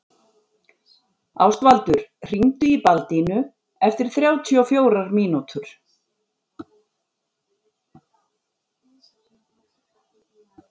Ástvaldur, hringdu í Baldínu eftir þrjátíu og fjórar mínútur.